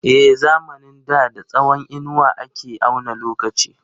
A zamanin da da tsawon inuwa ake auna lokaci.